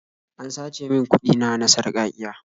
An sace min kuɗi na na sarƙaƙiya.